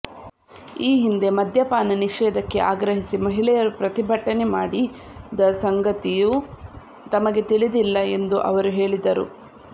ಈ ಹಿಂದೆ ಮದ್ಯಪಾನ ನಿಷೇಧಕ್ಕೆ ಆಗ್ರಹಿಸಿ ಮಹಿಳೆಯರು ಪ್ರತಿಭಟನೆ ಮಾಡಿದ ಸಂಗತಿಯೂ ತಮಗೆ ತಿಳಿದಿಲ್ಲ ಎಂದು ಅವರು ಹೇಳಿದರು